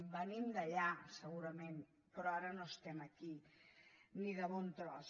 venim d’allà segurament però ara no estem aquí ni de bon tros